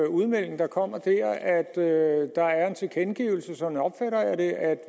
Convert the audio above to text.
udmelding der kom der nemlig at der er en tilkendegivelse af sådan opfatter jeg det at